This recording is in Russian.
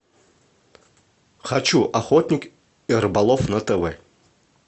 хочу охотник и рыболов на тв